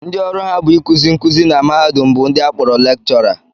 Ndo ọrụ ha bụ ịkụzi nkụzi na mahadum bụ ndị a kpọrọ lekchọra